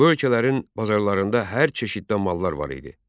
Bu ölkələrin bazarlarında hər çeşiddə mallar var idi.